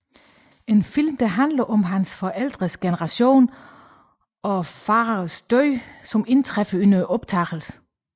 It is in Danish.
En film der handler om hans forældres generation og faderens død som indtræffer under optagelserne